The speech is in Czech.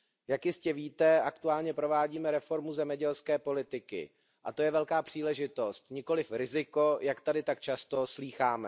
Jak jistě víte, aktuálně provádíme reformu zemědělské politiky, a to je velká příležitost, nikoliv riziko, jak tady tak často slýcháme.